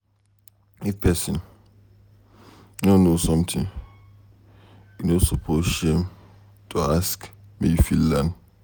If pesin no know something, e no suppose shame to ask make you fit learn.